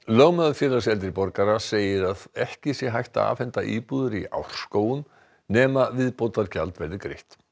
lögmaður Félags eldri borgara segir að ekki sé hægt að afhenda íbúðir í Árskógum nema viðbótargjald verði greitt